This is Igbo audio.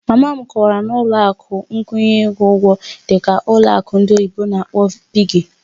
Mama m kọwara na ụlọ akụ nkwụnye ego ịkwụ ụgwọ dị ka ụlọ akụ ndị oyibo n'akpọ "piggy"